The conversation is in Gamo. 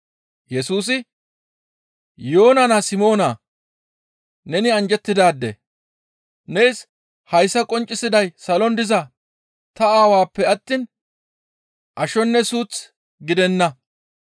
Yesusi, «Yoona naa Simoonaa! Neni anjjettidaade! Nees hayssa qonccisiday salon diza ta Aawappe attiin ashonne suuth gidenna.